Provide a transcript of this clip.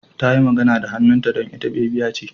Tayi magana da hannunta don ita bebiya ce.